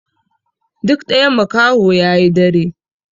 Duk ɗaya makaho yayi dare